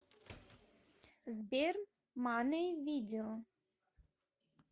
сбер мани видео